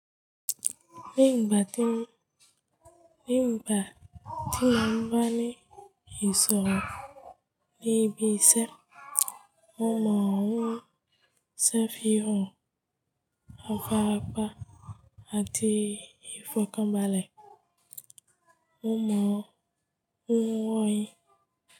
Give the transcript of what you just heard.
Ní ìgbà tí mo ń bá ní ìsọ̀rọ̀ níbi ìṣe, mo mọ̀ ọ́n ṣẹ́ fi hàn apárapá àti ìfọkànbalẹ̀. Mo mọ̀ ọ́n wọ́n yín.